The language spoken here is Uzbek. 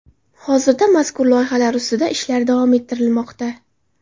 Hozirda mazkur loyihalar ustida ishlar davom ettirilmoqda.